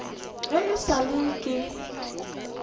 ge e sa le ke